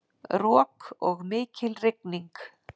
Rok og mikil rigning